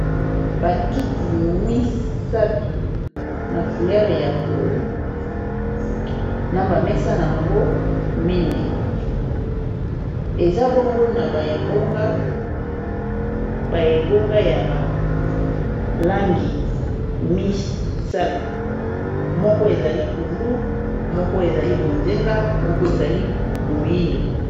Ba kiti misatu na couleur ya pondu na ba mesa nango mine eza bongo na ba ebonga, ba ebongo ya balangi misato moko ezali pondu, moko ezali bonzenga, moko ezali moyindo.